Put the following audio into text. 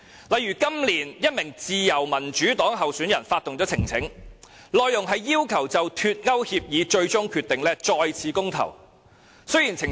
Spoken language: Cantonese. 例如，今年1名自由民主黨候選人發動了呈請書，內容是要求就脫歐協議最終決定再次公投。